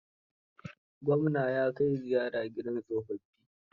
Gwamna ya kai ziyara gida tsofaffi.